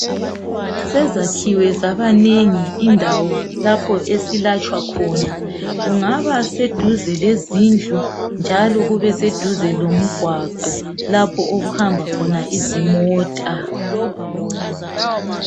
Sezakhiwe zabanengi indawo lapho esilatshwa khona. Kungaba seduze lezindlu njalo kubeseduze lomgwaqo lapho okuhamba khona izimota.